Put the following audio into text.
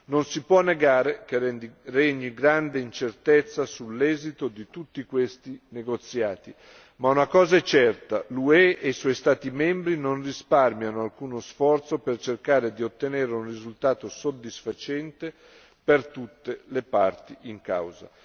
Non si può negare che regni grande incertezza sull'esito di tutti questi negoziati, ma una cosa è certa l'UE e i suoi Stati membri non risparmiano alcuno sforzo per cercare di ottenere un risultato soddisfacente per tutte le parti in causa.